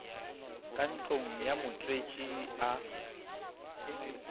ka ntlong ya motswetši a